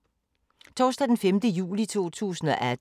Torsdag d. 5. juli 2018